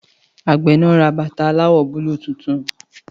Àgbẹ̀ náà ra bàtà aláwọ̀ búlúù tuntun